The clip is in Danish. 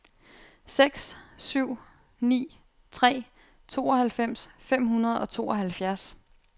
seks syv ni tre tooghalvfems fem hundrede og tooghalvfjerds